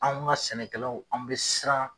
Anw ka sɛnɛkɛlaw anw bɛ siran.